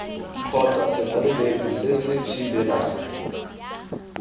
kgotsa setlaleletsi se se thibelang